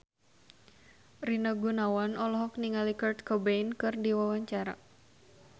Rina Gunawan olohok ningali Kurt Cobain keur diwawancara